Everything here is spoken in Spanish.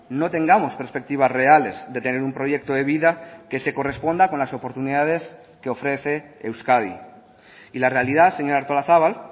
no tengamos perspectivas reales de tener un proyecto de vida que se corresponda con las oportunidades que ofrece euskadi y la realidad señora artolazabal